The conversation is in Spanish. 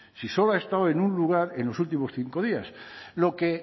si solo ha estado en un lugar en los últimos cinco días lo que